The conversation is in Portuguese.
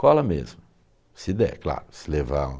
Cola mesmo, se der, claro, se levar.